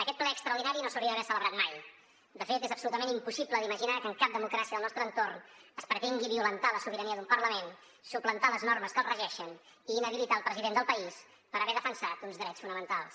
aquest ple extraordinari no s’hauria d’haver celebrat mai de fet és absolutament impossible d’imaginar que en cap democràcia del nostre entorn es pretengui violentar la sobirania d’un parlament suplantar les normes que el regeixen i inhabilitar el president del país per haver defensat uns drets fonamentals